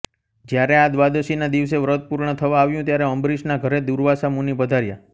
જ્યારે આ દ્વાદશીના દિવસે વ્રત પૂર્ણ થવા આવ્યું ત્યારે અંબરીશના ઘરે દુર્વાસા મુનિ પધાર્યા